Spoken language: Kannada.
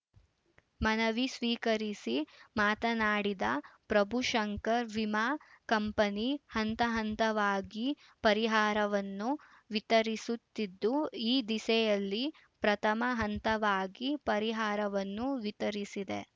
ಮನವಿ ಸ್ವೀಕರಿಸಿ ಮಾತನಾಡಿದ ಪ್ರಭುಶಂಕರ್‌ ವಿಮಾ ಕಂಪನಿ ಹಂತಹಂತವಾಗಿ ಪರಿಹಾರವನ್ನು ವಿತರಿಸುತ್ತಿದ್ದು ಈ ದಿಸೆಯಲ್ಲಿ ಪ್ರಥಮ ಹಂತವಾಗಿ ಪರಿಹಾರವನ್ನು ವಿತರಿಸಿದೆ